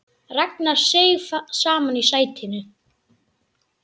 Ragnar seig saman í sætinu.